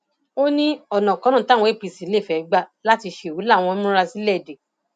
ó ní ọnàkọnà táwọn ẹgbẹ apc lè fẹẹ gbà láti ṣerú làwọn tí ń múra sílẹ dé